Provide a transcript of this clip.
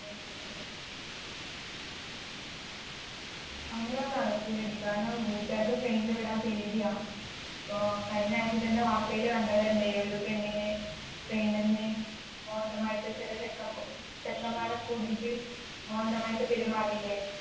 അങ്ങനൊന്നും നടക്കൂലെടി കാരണം വീട്ടുകാർക്ക് train ൽ വിടാൻ പേടിയാ ഇപ്പൊ കഴിഞ്ഞായിച്ച തന്നെ വാർത്തയിൽ കണ്ടതല്ലേ ഒരു പെണ്ണിനെ train ന്ന് മോശമായിട്ട് ചെറിയ ചെക്കമ്മ് ചെക്കന്മാരൊക്കെ കൂടിട്ട് മോശമായിട്ട് പെരുമാറീലെ